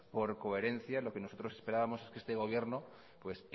por coherencia lo que nosotros esperábamos es que este gobierno pues